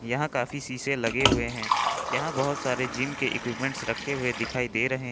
यहां काफी शीशे लगे हुए हैं यहां बहोत सारे जिम के इक्विपमेंट रखे हुए दिखाई दे रहे --